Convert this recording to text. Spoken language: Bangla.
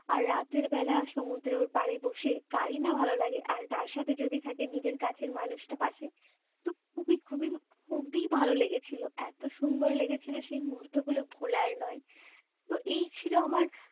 আর রাতের বেলা সমুদ্রের পাড়ে বসে কারিনা ভালো লাগে আর তার সাথে যদি থাকে নিজের কাছের মানুষটা পাশে তো খুবই খুবই খুবই খুবই ভালো লেগেছিল এত সুন্দর লেগেছিল সেই মুহূর্তগুলো ভোলার নয় তো এই ছিল আমার